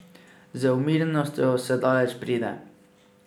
Z umirjenostjo se daleč pride.